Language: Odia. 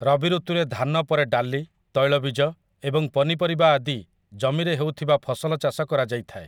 ରବି ଋତୁରେ ଧାନ ପରେ ଡାଲି, ତୈଳବୀଜ, ଏବଂ ପନିପରିବା ଆଦି ଜମିରେ ହେଉଥିବା ଫସଲ ଚାଷ କରାଯାଇଥାଏ ।